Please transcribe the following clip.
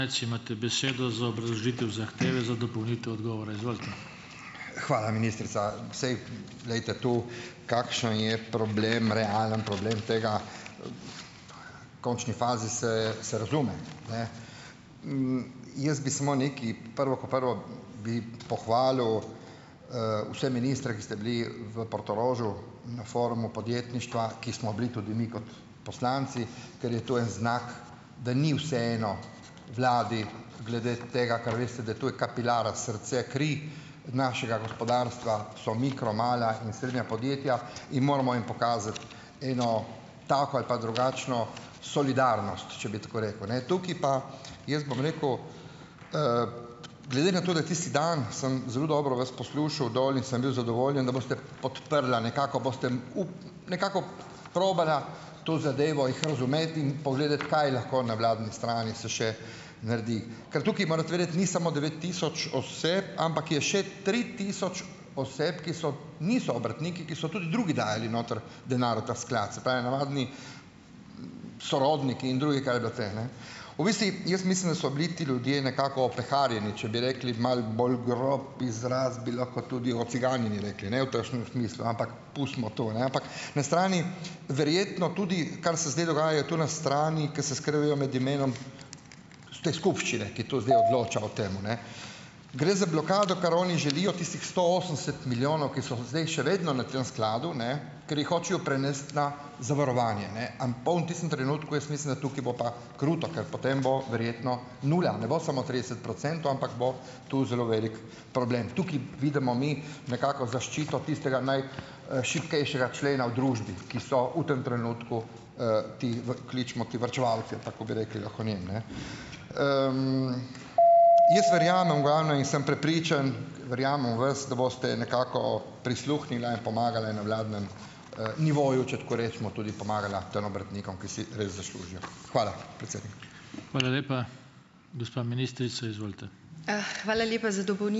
mec, imate besedo za obrazložitev zahteve za dopolnitev odgovora, izvolite. Hvala, ministrica. Saj, glejte, to kakšen je problem, realen problem tega, končni fazi se se razume, ne. Jaz bi samo nekaj. Prvo kot prvo, bi pohvalil, vse ministre, ki ste bili v Portorožu na forumu podjetništva, ki smo bili tudi mi kot poslanci, ker je to en znak, da ni vseeno vladi glede tega, kar veste, da to je kapilara, srce, kri našega gospodarstva, so mikro-, mala in srednja podjetja in moramo jim pokazati eno tako ali pa drugačno solidarnost, če bi tako rekel, ne. Tukaj pa, jaz bom rekel, glede na to, da tisti dan sem zelo dobro vas poslušal dol in sem bil zadovoljen, da boste podprla, nekako boste nekako probala to zadevo, jih razumeti in pogledati, kaj lahko na vladni strani se še naredi. Ker tukaj morate vedeti, ni samo devet tisoč ampak je še tri tisoč oseb, ki so niso obrtniki, ki so tudi drugi dajali noter denar v ta sklad, se pravi, navadni sorodniki in drugi, kar je bilo te, ne. V bistvu jaz mislim, da so bili ti ljudje nekako opeharjeni, če bi rekli malo bolj grob izraz, bi lahko tudi ociganjeni rekli, ne v takšnem smislu, ampak pustimo to, ne. Ampak na strani verjetno tudi, kar se zdaj dogaja je to na strani, ko se skrivajo med imenom te skupščine, ki to zdaj odloča o tem, ne. Gre za blokado, kar oni želijo, tistih sto osemdeset milijonov, ki so zdaj še vedno na tem skladu, ne, ker jih hočejo prenesti na zavarovanje, ne. bo v tistem trenutku jaz mislim, da tukaj bo pa kruto, ker potem bo verjetno nula, ne bo samo trideset procentov, ampak bo tu zelo velik problem. Tukaj vidimo mi nekako zaščito tistega naj, šibkejšega člena v družbi, ki so v tem trenutku, ti kličemo ti varčevalci, ali pa kako bi rekli lahko njim, ne. Jaz verjamem v glavnem in sem prepričan, verjamem v vas, da boste nekako prisluhnila in pomagala na vladnem, nivoju, če tako rečemo, tudi pomagala tem obrtnikom, ki si res zaslužijo. Hvala, predsednik. Hvala lepa. Gospa ministrica, izvolite. hvala lepa za ...